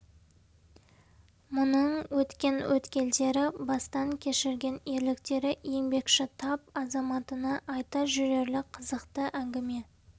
мұның өткен өткелдері бастан кешірген ерліктері еңбекші тап азаматына айта жүрерлік қызықты әңгіме